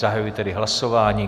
Zahajuji tedy hlasování.